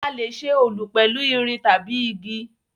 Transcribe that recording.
A lè ṣe Olù pẹ̀lu irin tabi igi